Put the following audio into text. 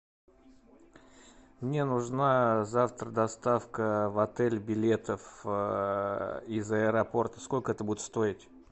мне нужна завтра доставка в отель билетов из аэропорта сколько это будет стоить